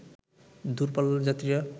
দূর পাল্লার যাত্রীরা